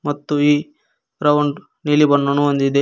ಮತ್ತು ಈ ಗ್ರೌಂಡ್ ನೀಲಿ ಬಣ್ಣವನ್ನು ಹೊಂದಿದೆ.